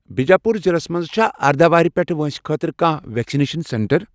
بِجاپوٗر ضلعس مَنٛز چھا اردَہ وُہُر پیٚٹھؠ وٲنٛسہِ خٲطرٕ کانٛہہ ویکسِنیشن سینٹر؟